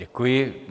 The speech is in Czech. Děkuji.